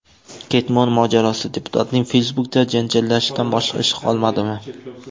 Ketmon mojarosi: Deputatning Facebook’da janjallashishdan boshqa ishi qolmadimi?.